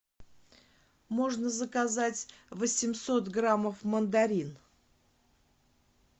можно заказать восемьсот граммов мандарин